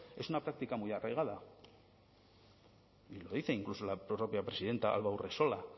es una práctica muy arraigada y lo dice incluso la propia presidenta alba urresola